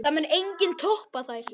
Það mun enginn toppa þær.